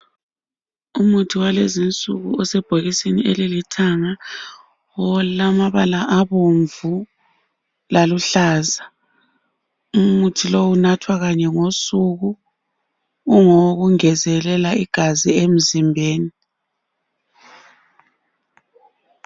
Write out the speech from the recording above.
Umuthi walezinsuku osebhokisini ezilithanga olamabala abomvu laluhlaza, umuthi lowu unathwa kanye ngosuku ngowokungezelela igazi emzimbeni.